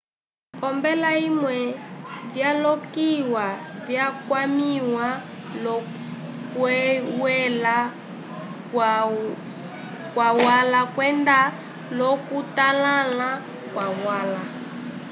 olombela vimwe vyalokiwa vyakwamĩwa l'okuywela kwalwa kwenda l'okutotãla kwalwa